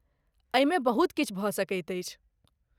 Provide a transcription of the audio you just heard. एहिमे बहुत किछु भऽ सकैत अछि।